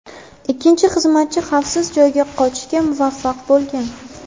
Ikkinchi xizmatchi xavfsiz joyga qochishga muvaffaq bo‘lgan.